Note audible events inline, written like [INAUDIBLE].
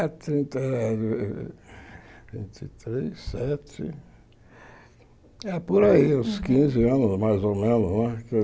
[UNINTELLIGIBLE] três sete é por aí, uns quinze anos mais ou menos não é. Eu